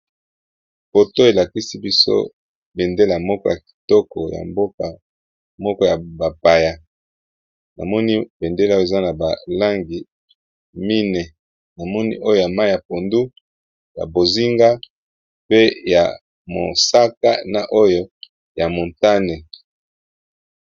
Photo elakisibiso bendela moko yakitoko ya mboka moko yabapaya namoni bendela eza nabalangi mine namoni oyo yamayi ya pondu ya bozinga ya mosaka pe oyo motane